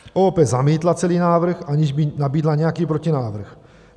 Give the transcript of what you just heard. OOP zamítla celý návrh, aniž by nabídla nějaký protinávrh.